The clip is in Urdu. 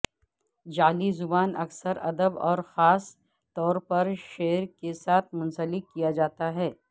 جعلی زبان اکثر ادب اور خاص طور پر شعر کے ساتھ منسلک کیا جاتا ہے